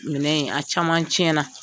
Minɛn in a caman tiɲɛna.